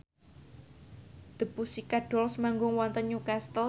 The Pussycat Dolls manggung wonten Newcastle